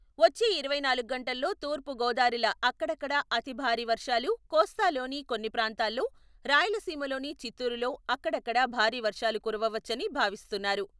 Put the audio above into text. వచ్చే ఇరవై నాలుగు గంటల్లో తూర్పు గోదారిల అక్కడక్కడ అతి భారీ వర్షాలు, కోస్తాలోని కొన్ని ప్రాంతాల్లో రాయలసీమలోని చిత్తూరులో అక్కడక్కడ భారీ వర్షాలు కురవచ్చని భావిస్తున్నారు.